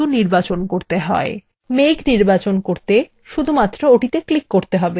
মেঘ নির্বাচন করতে শুধুমাত্র ওটিতে click করতে হবে